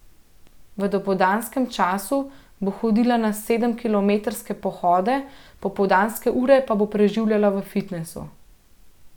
V dopoldanskem času bo hodila na sedemkilometrske pohode, popoldanske ure pa bo preživljala v fitnesu.